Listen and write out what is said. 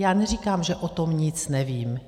Já neříkám, že o tom nic nevím.